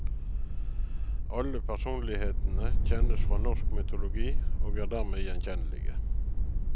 Alle personlighetene kjennes fra norsk mytologi, og er dermed gjenkjennelige.